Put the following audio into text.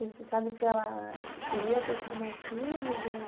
E você sabe se ela queria ter tido mais filhos ou?